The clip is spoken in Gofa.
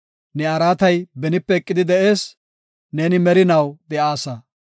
Ne araatay benipe eqidi de7ees; neeni merinaw de7aasa.